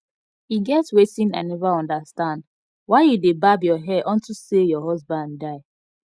e get wetin i never understand why you dey barb your hair unto say your husband die